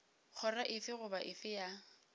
kgoro efe goba efe ya